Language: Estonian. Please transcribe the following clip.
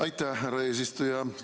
Aitäh, härra eesistuja!